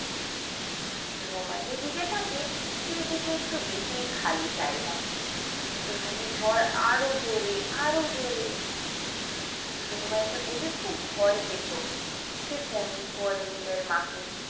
রোমা যেদিকে থাকে সেদিকে একটু বেশিই খালি জায়গা সেখানে ঝড় আর ও জোরে আর ও জোরে রোমা এইসব দেখে খুব ভয় পেত সে phone করে নিজের মাকে।